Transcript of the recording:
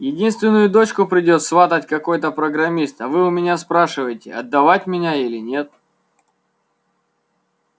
единственную дочку придёт сватать какой-то программист а вы у меня спрашиваете отдавать меня или нет